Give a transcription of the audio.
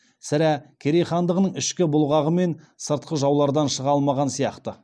сірә керей хандығының ішкі бұлғағы мен сыртқы жаулардан шыға алмаған сияқты